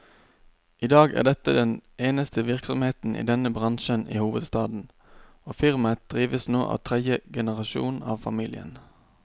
I dag er dette den eneste virksomheten i denne bransjen i hovedstaden, og firmaet drives nå av tredje generasjon av familien.